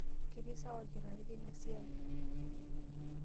Ketii sawa olkitari teina siai.